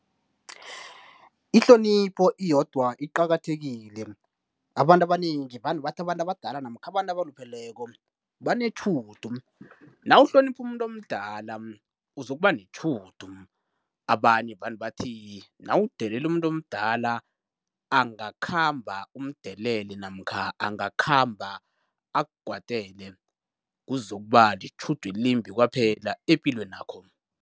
Ihlonipho iyodwa iqakathekile, abantu abanengi vane bathi abantu abadala namkha abalupheleko banetjhudu. Nawuhlonipha umuntu omdala uzokuba netjhudu abanye vane bathi nawudelela umuntu omdala, angakhamba umdelele namkha angakhamba akukwatele kuzokuba litjhudu elimbi kwaphela epilweni yakho.